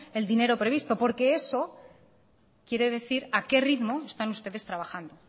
el dinero previsto porque eso quiere decir a qué ritmo están ustedes trabajando